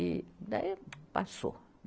E daí passou.